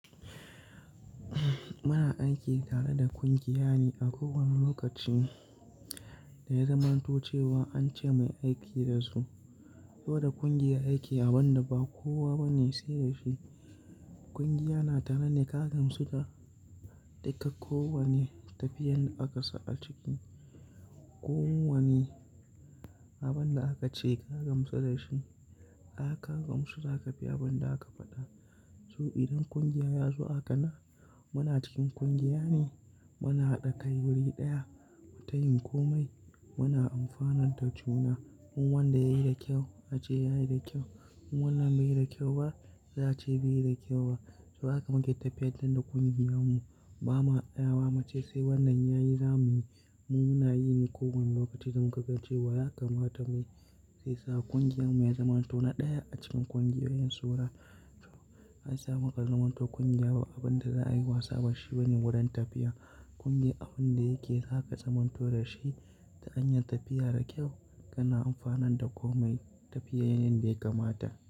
Muna aiki tare da ƙungiya ne a kowani lokaci da ya zamanto cewa an ce muyi aiki da su. Koda ƙungiyar aiki a wand ba kowa bane sai da shi. Ƙungiya na tare ne ka gamsu da, da ka kowane tafiyar da aka sa a ciki. Ko wani abin da aka ce ka gamsu da shi, aka gamsu za ka bi abun da aka faɗa. To idan ƙungiya ya zo a kanan, muna cikin ƙungiya ne muna haɗa kai wuri ɗaya. Mutayin komai muna amfanar da juna. In wanda yayi da kyau a ce yayi da kyau, in wannan bai yi da kyau ba za ce bai yi da kyau ba. To haka muke tafiyartar da ƙungiyarmu. Ba ma ɗaya wa mace sai wannan yayi zamuyi. Mu muna yi ne kowane lokaci don mu ga cewa ya kamata muyi. Sai sa ƙungiyarmu ya zamanto na ɗaya a cikin ƙungiyoyin Saurah. Ai sa mu ka azaman to ƙungiya ba abin da za a yi wasa bashi bane wurin tafiya. Ƙungiya abun da yake sa ka zamanto da shi ta hanyar tafiya da kyau. Yana amfanar da komai tafiya yanda ya kamata.